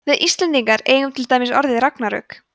við íslendingar eigum til dæmis orðið ragnarök